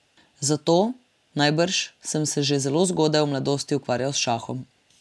Zato, najbrž, sem se že zelo zgodaj v mladosti ukvarjal s šahom.